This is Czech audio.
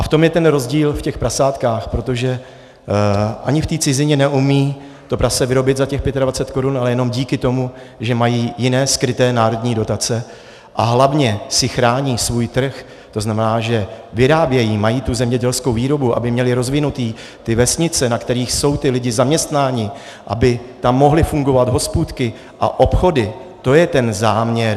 A v tom je ten rozdíl, v těch prasátkách, protože ani v té cizině neumí to prase vyrobit za těch 25 korun, ale jenom díky tomu, že mají jiné skryté národní dotace a hlavně si chrání svůj trh, to znamená, že vyrábějí, mají tu zemědělskou výrobu, aby měli rozvinuté ty vesnice, na kterých jsou ti lidé zaměstnáni, aby tam mohly fungovat hospůdky a obchody, to je ten záměr.